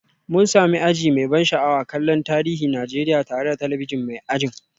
Mun sami aji mai ban sha'awa kallon tarihin Najeriya tare da talabijin mai ajin